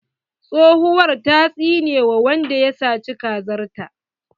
Tsohuwar ta tsine wa wanda ya saci kazar ta.